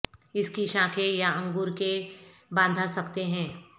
اس کی شاخیں یا انگور کے باندھا سکتے ہیں